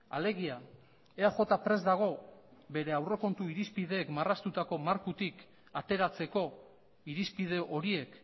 alegia eaj prest dago bere aurrekontu irizpideek marraztutako markotik ateratzeko irizpide horiek